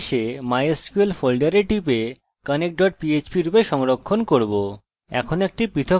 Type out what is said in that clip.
আমি এখানে আসবো mysql ফোল্ডারে টিপব এবং একে connectphp রূপে সংরক্ষণ করবো